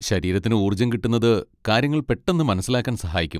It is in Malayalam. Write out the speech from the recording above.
ശരീരത്തിന് ഊർജ്ജം കിട്ടുന്നത് കാര്യങ്ങൾ പെട്ടെന്ന് മനസ്സിലാക്കാൻ സഹായിക്കും.